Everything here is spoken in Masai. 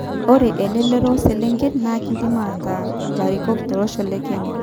Ore elelero oselenken naa kidim ataa larikok tolosho le Kenya